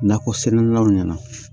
Nakɔ sɛnɛlaw ɲɛna